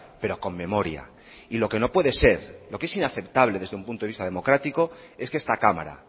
pero con memoria y lo que no puede ser lo que es inaceptable desde un punto de vista democrático es que esta cámara